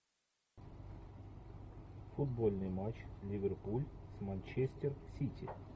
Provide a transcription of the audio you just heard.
футбольный матч ливерпуль с манчестер сити